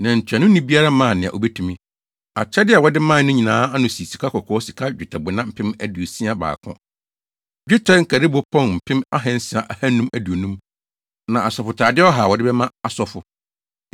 Na ntuanoni biara maa nea obetumi. Akyɛde a wɔde mae no nyinaa ano sii sikakɔkɔɔ sika nnwetɛbona mpem aduosia baako (61,000), dwetɛ nkaribo pɔn mpem ahansia ahannu aduonum (600,250) na asɔfotade ɔha (100) a wɔde bɛma asɔfo.